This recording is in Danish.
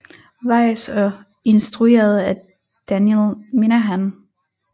Weiss og instrueret af Daniel Minahan